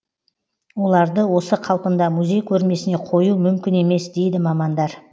оларды осы қалпында музей көрмесіне қою мүмкін емес дейді мамандар